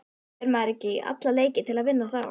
Fer maður ekki í alla leiki til að vinna þá?